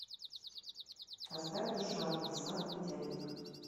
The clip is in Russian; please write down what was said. поставь душа владислав медяник